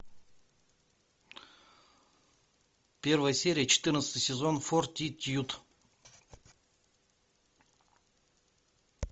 первая серия четырнадцатый сезон фортитьюд